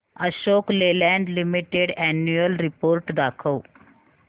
Ashok Leyland limited annual report दाखव